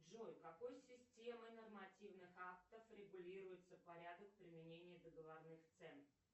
джой какой системой нормативных актов регулируется порядок применения договорных цен